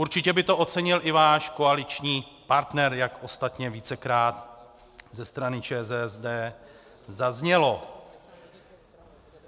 Určitě by to ocenil i váš koaliční partner, jak ostatně vícekrát ze strany ČSSD zaznělo.